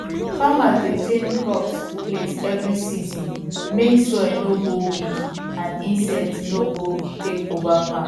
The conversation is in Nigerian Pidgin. farmers dey change crop place every season make soil no go weak and insects no go take over farm